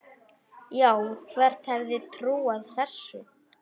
Já, hver hefði trúað þessu?